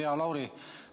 Hea Lauri!